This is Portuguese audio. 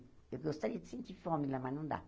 Eu gostaria de sentir fome lá, mas não dá.